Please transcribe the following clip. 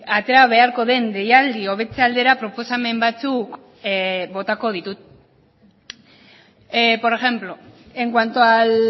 atera beharko den deialdi hobetze aldera proposamen batzuk botako ditut por ejemplo en cuanto al